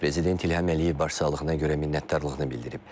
Prezident İlham Əliyev başsağlığına görə minnətdarlığını bildirib.